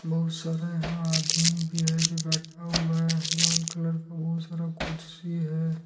बहुत सारे यहा आदमी भी है जो बैठा हुआ है लाल कलर का बहुत सारा कुर्सी है।